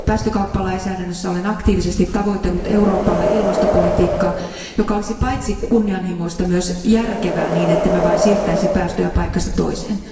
Päästökauppalainsäädännössä olen aktiivisesti tavoitellut Euroopalle ilmastopolitiikkaa, joka olisi paitsi kunnianhimoista, myös järkevää, niin ettemme vain siirtäisi päästöjä paikasta toiseen.